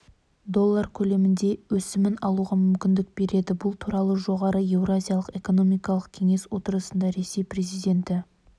доллар көлемінде өсімін алуға мүмкіндік береді бұл туралы жоғары еуразиялық экономикалық кеңес отырысында ресей президенті